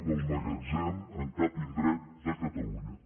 del magatzem en cap indret de catalunya